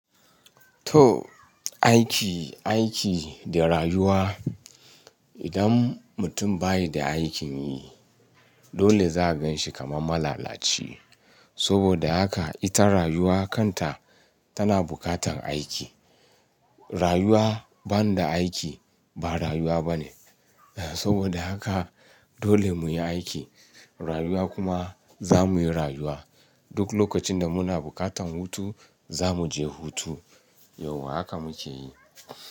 To aiki, aiki da rayuwa. Idan mutum bayi da aikin yi dole za'a gan shi kamar malalaci. Saboda haka ita rayuwa kanta tana bukatan aiki. Rayuwa ban da aiki ba rayuwa bane. Eh saboda haka dole mu yi aiki, rayuwa kuma zamu yi rayuwa. Duk lokacin da muna bukatan hutu zamu je hutu. Yauwa haka muke yi.